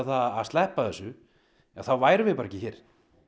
að sleppa þessu þá værum við ekki hér